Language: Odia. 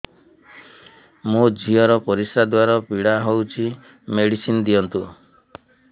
ମୋ ଝିଅ ର ପରିସ୍ରା ଦ୍ଵାର ପୀଡା ହଉଚି ମେଡିସିନ ଦିଅନ୍ତୁ